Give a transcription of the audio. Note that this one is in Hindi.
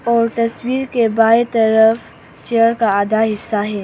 और तस्वीर के बाएं तरफ चेयर का आधा हिस्सा है।